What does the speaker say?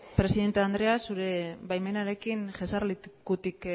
presidente andrea zure baimenarekin jesarlekutik